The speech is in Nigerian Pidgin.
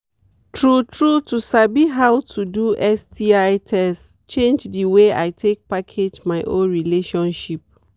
true true to sabi how to do sti test change the way i take package my own relationship